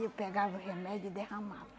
Eu pegava o remédio e derramava.